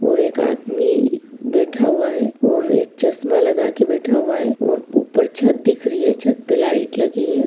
और एक आदमी बैठा हुआ है और एक चश्मा लगा के बैठा हुआ है और ऊपर छत दिख रही है। छत पे लाईट लगी है।